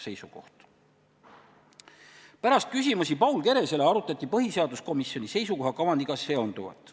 Pärast Paul Keresele küsimuste esitamist arutati põhiseaduskomisjoni seisukoha kavandiga seonduvat.